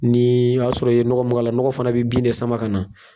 Ni o y'a sɔrɔ i ye nɔkɔ mun k'a la nɔkɔ fana bɛ bin de sama ka na.